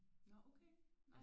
Nå okay nej